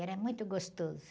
Era muito gostoso.